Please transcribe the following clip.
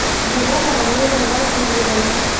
елены валерьевны васильевой